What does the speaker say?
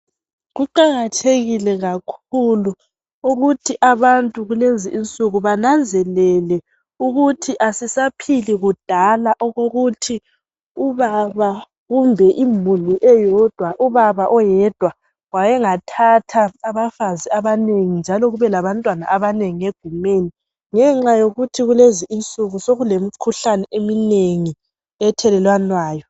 Kuqakathekile kakhulu ukuthi abantu kulezi insuku bananzelele ukuthi asisaphili kudala okokuthi ubaba kumbe imuli eyodwa uyathatha abafazi abanengi njalo kube labantwana abanengi egumeni. Ngenxa yokuthi kulezi insuku sokulemikhuhlane eminengi ethelelanwayo.